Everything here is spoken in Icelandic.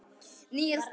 Níels Pálmi.